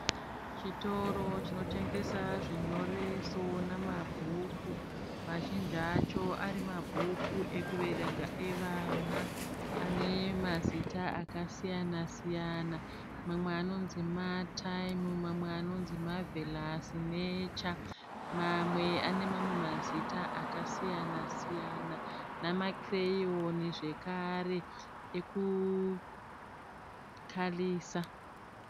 Chitoro chinotengesa zvinyoreso namabhuku mazhinji acho ari mabhuku ekuverenga evana ane mazita akasiyana siyana mamwe anonzi Martine mamwe anonzi marvelous nature mamwe ane mamwe mazita akasiyana siyana namakireyoni zvekare ekukarisa.